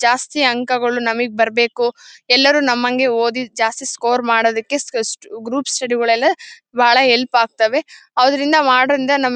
ಜಾಸ್ತಿ ಅಂಕಗಳು ನಮಿಗೆ ಬರ್ಬೇಕು ಎಲ್ಲರು ನಮ್ಮಂಗೆ ಓದಿ ಜಾಸ್ತಿ ಸ್ಕೋರ್ ಮಾಡೋದಕ್ಕೆ ಗಸ್ ಗ್ರೂಪ್ ಸ್ಟಡಿ ಗಳೆಲ್ಲ ಬಾಳ ಹೆಲ್ಪ್ ಆಗ್ತಾವೆ ಅದರಿಂದ ಮಾಡೋದ್ರಿಂದ ನಮ್ಮ್--